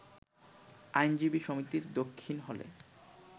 আইনজীবী সমিতির দক্ষিণ হলে